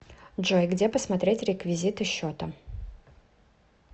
джой где посмотреть реквизиты счета